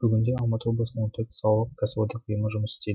бүгінде алматы облысында он төрт салалық кәсіподақ ұйымы жұмыс істейді